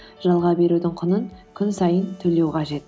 жалға берудің құнын күн сайын төлеу қажет